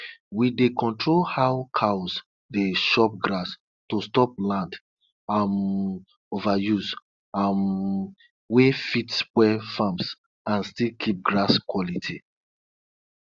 when you dey make yoghurt dey do am small small so dat um the um kind yoghurt you go get um go be better one